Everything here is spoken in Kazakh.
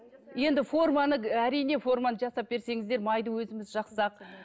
енді форманы әриен форманы жасап берсеңіздер майды өзіміз жақсақ